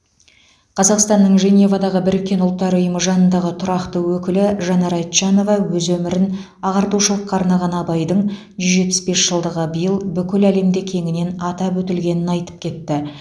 қазақстанның женевадағы біріккен ұлттар ұйымы жанындағы тұрақты өкілі жанар айтжанова өз өмірін ағартушылыққа арнаған абайдың жүз жетпіс бес жылдығы биыл бүкіл әлемде кеңінен атап өтілгенін айтып кетті